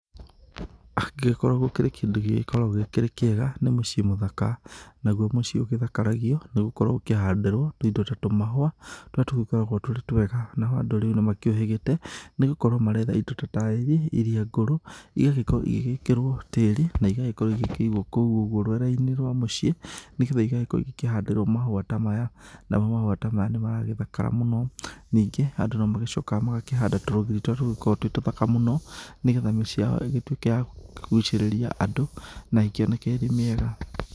Angĩkorwo kũrĩ kĩndũ gĩgĩkoragwo kĩrĩ kĩega, nĩ mũciĩ mũthaka, naguo mũciĩ ũgĩthakaragio nĩgũkorwo ũkĩhandĩrwo tũindo ta tũmahũa, tũrĩa tũgĩkoragwo tũrĩ twega. Nao andũ rĩu nĩmakĩũhĩgĩgĩte, nĩgũkorwo maretha indo ta taĩri iria ngũrũ, igagĩkorwo igĩgĩkĩrwo tĩri, na igagĩkorwo igĩkĩigwo kũu ũguo rwere-inĩ rwa mũciĩ, nĩgetha igagĩkorwo ikĩhandĩrwo mahũa ta maya, namo mahũa ta maya nĩmaragĩthakara mũno. Ningĩ, andũ nomagĩcokaga magakĩhanda tũrũgiri ta tũtũ tũgĩkoragwo twĩ tũthaka mũno, nĩgetha mĩciĩ yao ĩgĩtuĩke ya kũgucĩrĩria andũ, na ĩkĩoneke ĩrĩ mĩega.